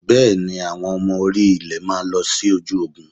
Bẹ́ẹ̀ni, àwọn ọmọ orí-ilẹ̀ máa lọ sójú Ogun?